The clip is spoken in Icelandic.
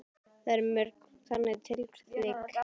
Og það eru mörg þannig tilvik?